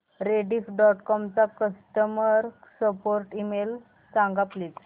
Rediff dot com चा customer support email सांग please